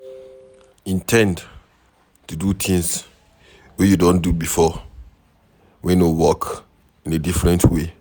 in ten d to do things wey you don do before wey no work in a different way